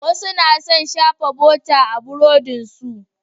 Wasu na son shafa bota a burodinsu.